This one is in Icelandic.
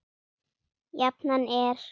Jafnan er